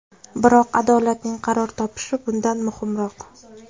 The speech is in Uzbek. Biroq adolatning qaror topishi bundan muhimroq.